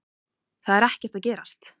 Það er ekkert að gerast.